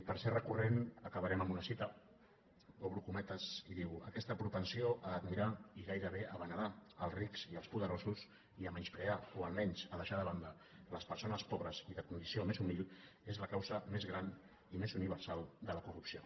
per ser recurrent acabarem amb una cita obro cometes i diu aquesta propensió a admirar i gairebé a venerar els rics i els poderosos i a menysprear o almenys a deixar de banda les persones pobres i de condició més humil és la causa més gran i més universal de la corrupció